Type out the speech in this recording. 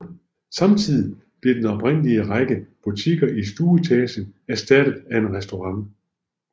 Samtidigt blev den oprindelige række butikker i stueetagen erstattet af en restaurant